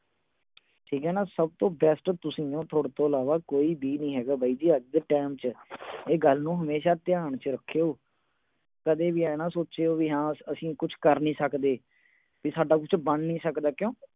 ਠੀਕ ਆ ਨਾ, ਸਭ ਤੋਂ best ਤੁਸੀਂ ਓ। ਤੋਥੇ ਤੋਂ ਇਲਾਵਾ ਕੋਈ ਵੀ ਨੀ ਹੈਗਾ ਇਸ ਟੈਮ ਚ। ਇਹ ਗੱਲ ਨੂੰ ਧਿਆਨ ਚ ਰੱਖਿਓ।